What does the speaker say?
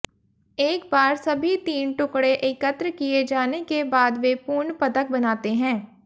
एक बार सभी तीन टुकड़े एकत्र किए जाने के बाद वे पूर्ण पदक बनाते हैं